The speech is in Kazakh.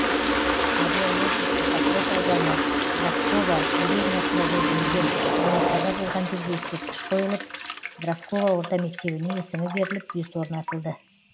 орел облысы покров ауданы дросково деревнясында жерленген және қаза болған жерге ескерткіш қойылып дросково орта мектебіне есімі беріліп бюст орнатылды